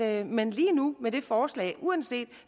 at man lige nu med det forslag uanset